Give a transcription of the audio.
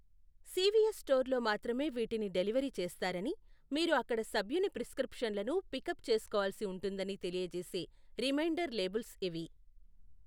CVS స్టోర్లో మాత్రమే వీటిని డెలివరీ చేస్తారని, మీరు అక్కడ సభ్యుని ప్రిస్క్రిప్షన్లను పికప్ చేసుకోవాల్సి ఉంటుందని తెలియజేసే రిమైండర్ లేబుల్స్ ఇవి.